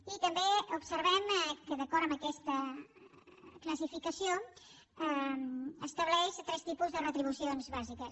i també observem que d’acord amb aquesta classificació estableix tres tipus de retribucions bàsiques